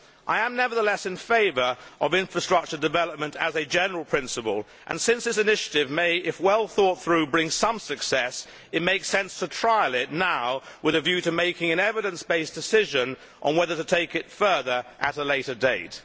I am nevertheless in favour of infrastructure development as a general principle and, since this initiative may, if well thought through, bring some success, it makes sense to trial it now, with a view to making an evidence based decision on whether to take it further at a later date.